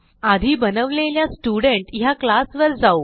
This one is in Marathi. आधी बनवलेल्या स्टुडेंट ह्या क्लास वर जाऊ